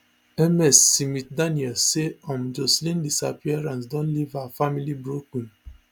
ms smithdaniels say um joshlin disappearance don leave her family broken